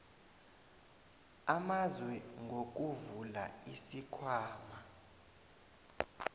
amazwe ngokuvula isikhwama